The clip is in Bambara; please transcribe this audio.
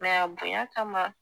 Mɛ a bonya kama